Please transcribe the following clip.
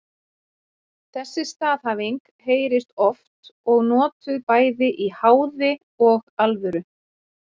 Þessi staðhæfing heyrist oft og notuð bæði í háði og alvöru.